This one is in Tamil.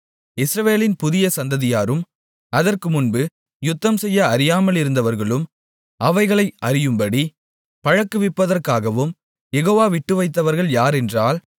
இஸ்ரவேலின் புதிய சந்ததியாரும் அதற்கு முன்பு யுத்தம் செய்ய அறியாமலிருந்தவர்களும் அவைகளை அறியும்படி பழக்குவிப்பதற்காகவும் யெகோவா விட்டுவைத்தவர்கள் யாரென்றால்